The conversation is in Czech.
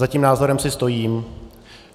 Za tím názorem si stojím.